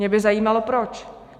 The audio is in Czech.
Mě by zajímalo proč.